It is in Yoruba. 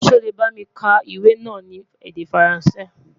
sọ lẹ bá mí ka iwè nà ní èdè faransé?